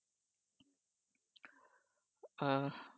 আ